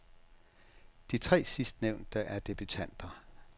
De tre sidstnævnte er debutanter.